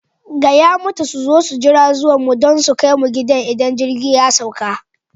Gaya mata su zo su jira zuwan mu don su kai mu gida idan jirgi ya sauka!